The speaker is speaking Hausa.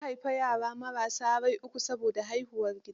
Ta haifi yara marassa rai uku saboda haihuwar gida.